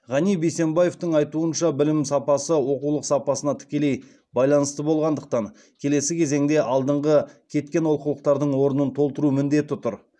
ғани бейсембаевтың айтуынша білім сапасы оқулық сапасына тікелей байланысты болғандықтан келесі кезеңде алдыңғы кеткен оқулықтардың орнын толтыру міндеті тұр